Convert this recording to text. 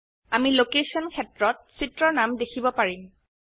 আমি লোকেশ্যন ক্ষেত্ৰত চিত্ৰৰ নাম দেখিব পাৰিম